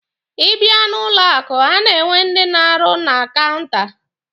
Ị bịa n'ụlọ akụ, a na-enwe ndị na-arụ na kaụnta.